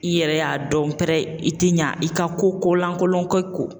I yɛrɛ y'a dɔn pɛrɛ i ti ɲɛ i ka ko ko lankolonkɛ kɔ